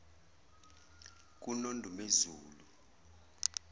kunondumezulu